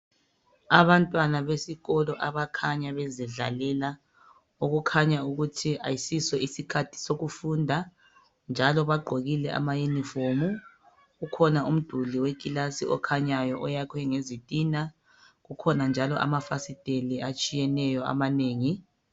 Abantwana besikolo, abakhanya bezidlalela. Okukhanya ukuthi ayisiso ieikhathi sokufunda, njalo bagqokile amayunifomu. . Kukhona umduli wekilasi okhanyayo, oyakhwe ngezitina. Kukhona njalo amafasiteli atshiyeneyo, amanengi.